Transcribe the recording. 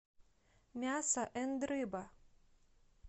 мясо энд рыба